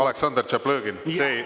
Aleksandr Tšaplõgin!